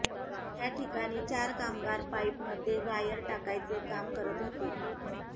त्या ठिकाणी चार कामगार पाईपमध्ये वायर टाकायचे काम करत होते